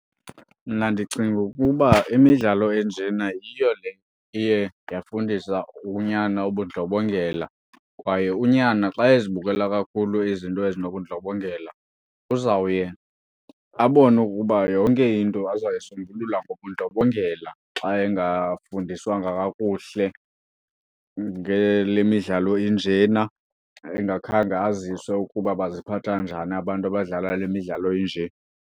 Mna ndicinga ukuba imidlalo enjena yiyo le iye yafundisa unyana ubundlobongela. Kwaye unyana xa ezibukela kakhulu izinto ezinobundlobongela, uzawuye abone ukuba yonke into azayisombulula ngobundlobongela xa engafundiswanga kakuhle ngale midlalo injena engakhange aziswe ukuba baziphatha njani abantu abadlala le midlalo inje.